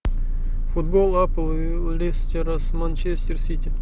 футбол апл лестера с манчестер сити